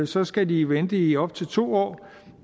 så skal de vente i op til to år